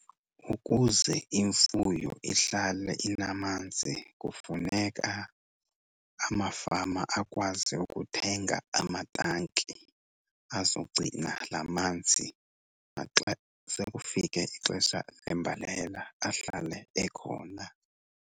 Ukuze imfuyo ihlale inamanzi kufuneka amafama akwazi ukuthenga amatanki azogcina la manzi, naxa sekufike ixesha lembalela ahlale ekhona.